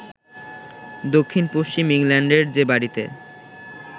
দক্ষিণ-পশ্চিম ইংল্যান্ডের যে বাড়িতে